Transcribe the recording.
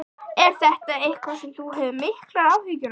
Er þetta eitthvað sem þú hefur miklar áhyggjur af?